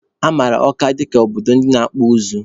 A mara Ọka dịka obodo ndị na-akpụ ụzụ.